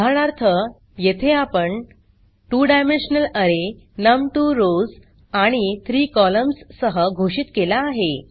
उदाहरणार्थ येथे आपण 2 डायमेन्शनल अरे नम 2 रॉव्स आणि 3 कॉलम्न्स सह घोषित केला आहे